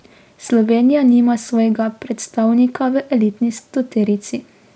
Slovenija nima svojega predstavnika v elitni stoterici.